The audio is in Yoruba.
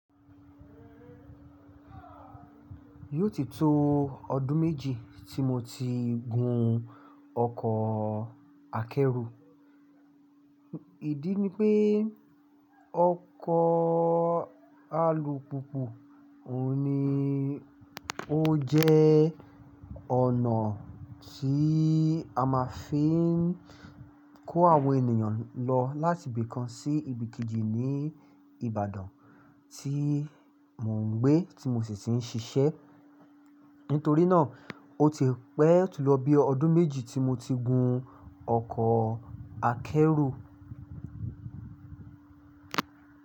Yóò ti to ọdún méjì tí mo ti gun ọkọ̀ akẹ́rù. Ìdí ni pé ọkọ̀ alùpùpù òun ni ó jẹ́ ọ̀nà tí a máa fi ń kó àwọn ènìyàn lọ láti ibìkan sí ibìkejì ní Ìbàdàn tí mò ń gbé tí mo sì ń ṣiṣẹ́. Nítorí náà, ó ti pẹ́ ó ti lọ bí ọdún méjì tí mo ti gun ọkọ̀ akẹ́rù.